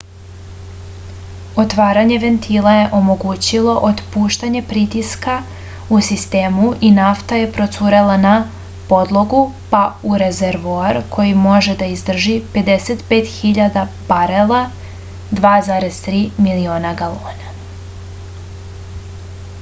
отварање вентила је омогућило отпуштање притиска у систему и нафта је процурела на подлогу па у резервоар који може да издржи 55.000 барела 2,3 милиона галона